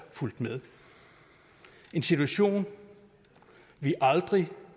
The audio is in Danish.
en situation vi aldrig